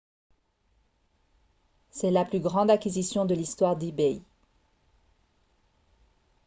c'est la plus grande acquisition de l'histoire d'ebay